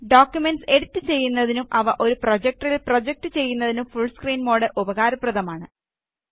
documents edit ചെയ്യുന്നതിനും അവ ഒരു പ്രൊജക്ടറില് പ്രൊജക്റ്റ് ചെയ്യുന്നതിനും ഫുള് സ്ക്രീന് മോഡ് ഉപകാരപ്രദമാണ്